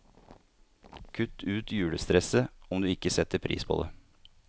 Kutt ut julestresset, om du ikke setter pris på det.